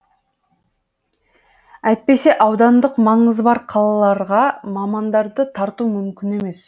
әйтпесе аудандық маңызы бар қалаларға мамандарды тарту мүмкін емес